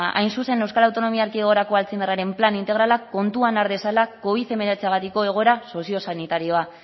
hain zuzen euskal autonomia erkidegorako alzheimerraren plan integralak kontuan har dezala covid hemeretziagatik egoera soziosanitarioa